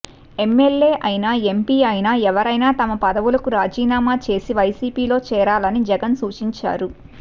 MLA అయినా MP అయినా ఎవరైనా తమ పదవులకు రాజీనామా చేసి వైసీపీలో చేరాలని జగన్ సూచించారు